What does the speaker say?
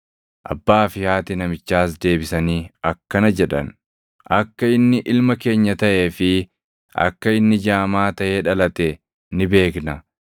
Abbaa fi haati namichaas deebisanii akkana jedhan; “Akka inni ilma keenya taʼee fi akka inni jaamaa taʼee dhalate ni beekna.